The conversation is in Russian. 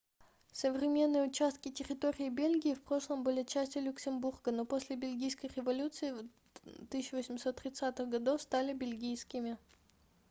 современные участки территории бельгии в прошлом были частью люксембурга но после бельгийской революции 1830-х годов стали бельгийскими